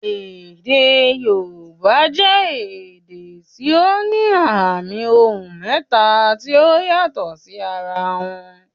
Èdè Yorùbá jẹ èdè tí ó ní àmì ohùn mẹ́ta tí ó yàtò sí ara wọn.